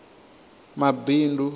mabindu